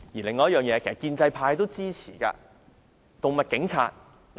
另一點，其實建制派也支持成立動物警察。